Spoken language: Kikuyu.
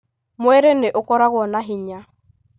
Mwĩrĩ ni ũkoragwo na hinya.